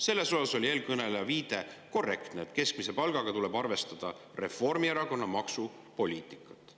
Selles osas oli eelkõneleja viide korrektne, et keskmise palga puhul tuleb arvestada Reformierakonna maksupoliitikat.